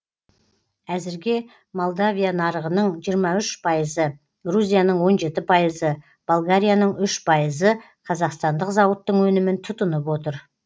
әзірге молдовия нарығының жиырма үш пайызы грузияның он жеті пайызы болгарияның үш пайызы қазақстандық зауыттың өнімін тұтынып отыр